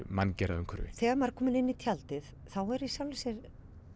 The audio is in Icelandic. manngerða umhverfi þegar maður er kominn inn í tjaldið er í sjálfu sér